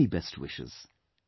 Many best wishes